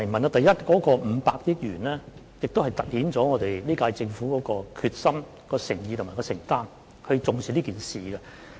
第一，這500億元突顯出本屆政府的決心、誠意和承擔，顯示政府是重視此事的。